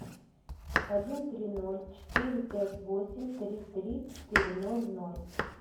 один три ноль четыре пять восемь три три четыре ноль ноль